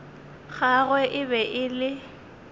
gagwe e be e le